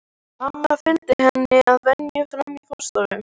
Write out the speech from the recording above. Amma fylgir henni að venju fram í forstofu.